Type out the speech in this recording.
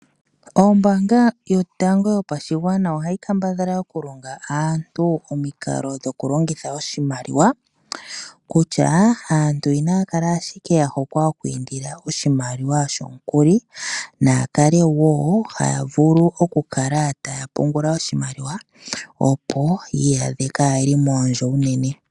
Ombaanga yotango yopashigwana ohayi kambadhala okulonga aantu omikalo dhiku longitha oshimaliwa ano kutya aantu inaya kala ashike ya hokwa okwiindila oshimaliwa shomukuli naakale wo haya vulu oku kala taya pungula oshimaliwa opo ya kale moondjo uunene.